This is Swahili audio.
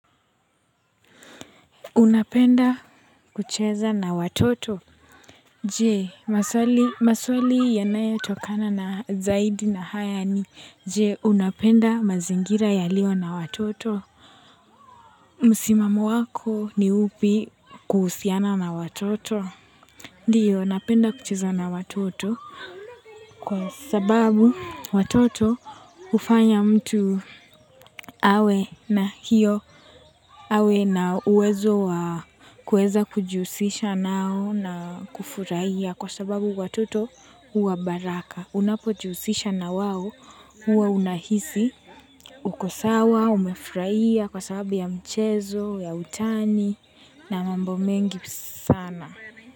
Unapenda kucheza na watoto? Je, maswali yanayo tokana na zaidi na haya ni je, unapenda mazingira ya leo na watoto? Msimamo wako ni upi kuhusiana na watoto? Ndiyo, napenda kucheza na watoto. Kwa sababu watoto hufanya mtu awe na hiyo awe na uwezo wa kuweza kujihusisha nao na kufurahia kwa sababu watoto huwa baraka. Unapojihusisha na wao huwa unahisi uko sawa, umefurahia kwa sababu ya mchezo, ya utani na mambo mengi sana.